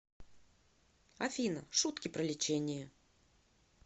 афина шутки про лечение